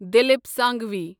Dilip Sanghvi